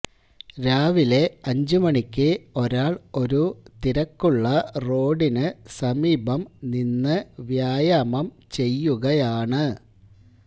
രാവിലെ അഞ്ച് മണിക്ക് ഒരാള് ഒരു തിരക്കുള്ള റോഡിന് സമീപം നിന്ന് വ്യായാമം ചെയ്യുകയാണ്